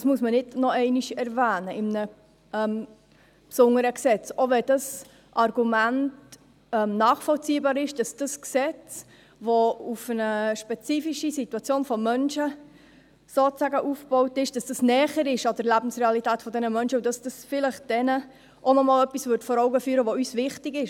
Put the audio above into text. Das muss man nicht noch einmal in einem besonderen Gesetz erwähnen, auch wenn das Argument nachvollziehbar ist, dass das Gesetz, das sozusagen auf eine spezifische Situation von Menschen aufgebaut ist, näher an der Lebensrealität dieser Menschen ist, und dass es ihnen vielleicht noch einmal etwas vor Augen führen würde, das uns wichtig ist.